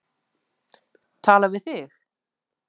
Tala við þig?